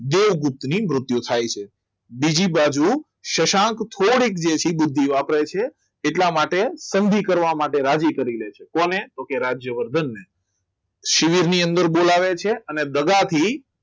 દેવગુપ્ત ની મૃત્યુ થાય છે બીજી બાજુ શશાંક થોડીક ઓછી બુદ્ધિ વાપરે છે એટલા માટે કદી કરવા માટે રાજી કરી લે છે કોને તો કે રાજ્યવર્ધનને શિબિર ની અંદર બોલાવે છે અને દગાથી